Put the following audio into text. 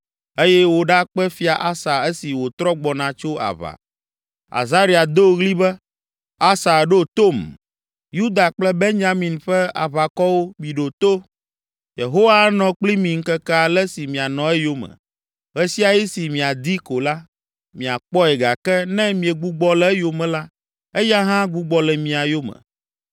eye wòɖakpe Fia Asa esi wòtrɔ gbɔna tso aʋa. Azaria do ɣli be, “Asa, ɖo tom! Yuda kple Benyamin ƒe aʋakɔwo, miɖo to! Yehowa anɔ kpli mi ŋkeke ale si mianɔ eyome! Ɣe sia ɣi si miadii ko la, miakpɔe gake ne miegbugbɔ le eyome la, eya hã agbugbɔ le mia yome.